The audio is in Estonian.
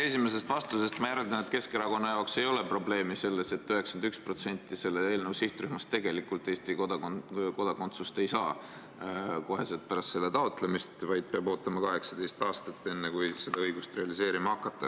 Teie esimesest vastusest ma järeldan, et Keskerakonna jaoks ei ole probleemi selles, et 91% selle eelnõu sihtrühmast tegelikult Eesti kodakondsust ei saa kohe pärast selle taotlemist, vaid peab ootama 18 aastat, enne kui seda õigust realiseerima hakata.